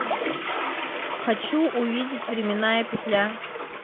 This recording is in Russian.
хочу увидеть временная петля